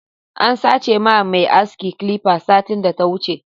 An sache ma mai aski clipper satin da ta wuche.